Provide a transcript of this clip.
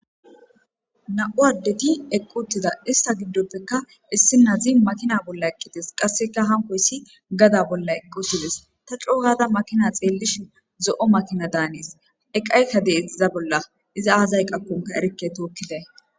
Namu7u adeti eqi utiza isita gidope issi na7azi makina bolla eqides qaska hankoys gaxa bolla eqi utizes ta coogada makina xelishin zo7o makina dane7es eqayika de7es iza bolla iza aza eqako erike tokidayi